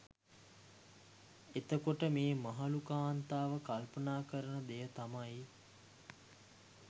එතකොට මේ මහලු කාන්තාව කල්පනා කරන දෙය තමයි